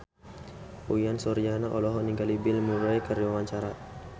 Uyan Suryana olohok ningali Bill Murray keur diwawancara